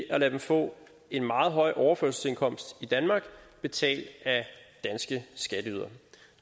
at lade dem få en meget høj overførselsindkomst i danmark betalt af danske skatteydere